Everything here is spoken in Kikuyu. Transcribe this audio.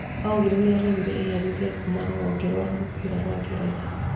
Aguero nĩarorĩire iherithia kuma rũhonge rwa mũbira rwa ngeretha